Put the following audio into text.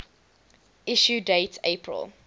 issue date april